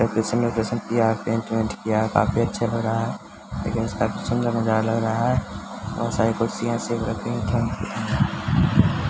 location उकेसन किया है पेंट बेंट किया है काफी अच्छा लग रहा है लेकिन काफी सुंदर नजारा लग रहा है बहुत सारी कुर्सियाँ ऐसे भी रखी --